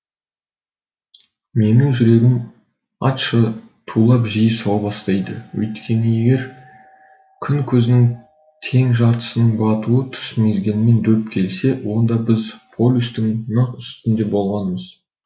менің жүрегім атша тулап жиі соға бастады өйткені егер күн көзінің тең жартысының батуы түс мезгілімен дөп келсе онда біз полюстің нақ үстінде болғанымыз